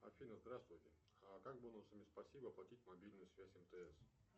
афина здравствуйте как бонусами спасибо оплатить мобильную связь мтс